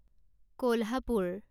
Kolhapur